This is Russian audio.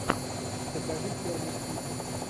покажи черный список